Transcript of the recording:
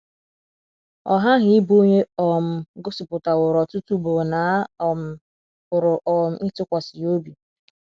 Ọ ghaghị ịbụ onye um gosipụtaworo ọtụtụ ugboro na a um pụrụ um ịtụkwasị ya obi.